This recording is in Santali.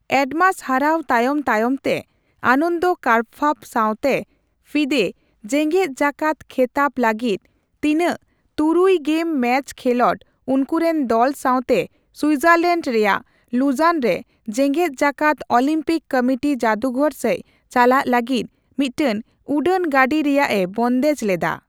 ᱮᱰᱢᱟᱥ ᱦᱟᱨᱟᱣ ᱛᱟᱭᱚᱢ ᱛᱟᱭᱚᱢ ᱛᱟᱭᱚᱢᱛᱮ ᱟᱱᱚᱱᱫᱚ ᱠᱟᱨᱯᱵᱷᱟᱵ ᱥᱟᱣᱛᱮ ᱯᱷᱤᱫᱮ ᱡᱮᱜᱮᱫ ᱡᱟᱠᱟᱫ ᱠᱷᱮᱛᱟᱵ ᱞᱟᱹᱜᱤᱫ ᱛᱤᱱᱟᱹᱜ ᱛᱩᱨᱩᱭ ᱜᱮᱢ ᱢᱮᱪ ᱠᱷᱮᱞᱚᱸᱰ, ᱩᱱᱠᱩᱨᱮᱱ ᱫᱚᱞ ᱥᱟᱣᱛᱮ ᱥᱩᱡᱟᱨᱞᱮᱸᱰ ᱨᱮᱭᱟᱜ ᱞᱩᱡᱟᱱ ᱨᱮ ᱡᱮᱜᱮᱫᱡᱟᱠᱟᱠᱫ ᱳᱞᱤᱢᱯᱤᱠ ᱠᱚᱢᱤᱴᱤ ᱡᱟᱫᱩᱜᱷᱚᱨ ᱥᱮᱡ ᱪᱟᱞᱟᱜ ᱞᱟᱹᱜᱤᱫ ᱢᱤᱫᱴᱮᱱ ᱩᱰᱟᱹᱱ ᱜᱟᱰᱤ ᱨᱮᱭᱟᱜ ᱮ ᱵᱚᱱᱫᱮᱡ ᱞᱮᱫᱟ ᱾